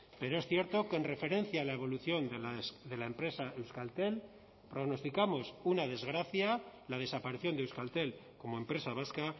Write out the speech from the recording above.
pero es cierto que en referencia a la evolución de la empresa euskaltel pronosticamos una desgracia la desaparición de euskaltel como empresa vasca